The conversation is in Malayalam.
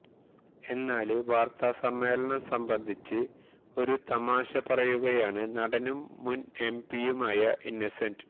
എന്നാല് വാര്ത്താസമ്മേളനം സംബന്ധിച്ച് ഒരു തമാശ പറയുകയാണ് നടനും മുൻ എംപിയുമായ ഇന്നസെന്റ്